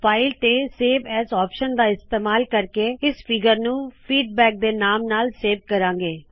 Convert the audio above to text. file ਤੇ save as option ਦਾ ਇਸਤੇਮਾਲ ਕਰਕੇ ਇਸ ਫੀਗਰ ਨੂ ਫੀਡਬੈਕ ਫੀਡਬੈਕ ਦੇ ਨਾਮ ਨਾਲ ਸੇਵ ਕਰਾੰ ਗੇ